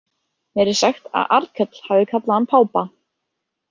Mér er sagt að Arnkell hafi kallað hann pápa.